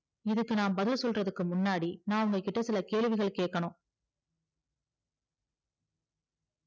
இதுக்கு நா பதில் சொல்லுரதர்க்கு முன்னாடி நா உங்ககிட்ட சில கேள்விகள் கேக்கணும்